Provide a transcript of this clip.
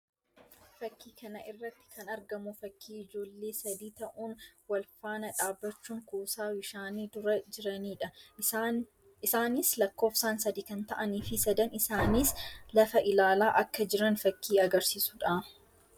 Fakkii kana irratti kan argamu fakkii ijoollee sadii ta'uun wal faana dhaabbachuun kuusaa bishaanii dura jiranii dha. Isaanis lakkoofsaan sadii kan ta'anii fi sadan isaaniis lafa ilaalaa akka jiran fakkii agarsiisuu dha.